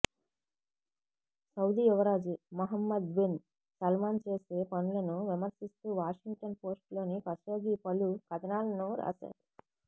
Saudi యువరాజు Mohammed bin Salman చేసే పనులను విమర్శిస్తూ వాషింగ్టన్ పోస్టులో కషోగి పలు కథనాలను రాశారు